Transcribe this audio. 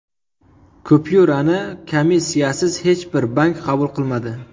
Kupyurani komissiyasiz hech bir bank qabul qilmadi.